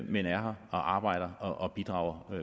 men er her og arbejder og bidrager